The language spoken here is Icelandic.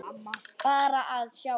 Aldrei að gefast upp.